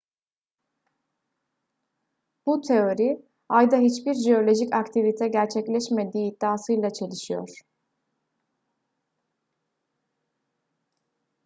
bu teori ayda hiçbir jeolojik aktivite gerçekleşmediği iddiasıyla çelişiyor